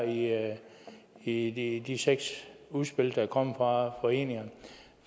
her i i de seks udspil der er kommet fra foreningerne